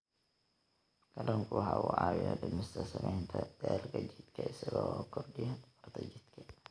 Kalluunku waxa uu caawiyaa dhimista saamaynta daalka jidhka isaga oo kordhiya tamarta jidhka.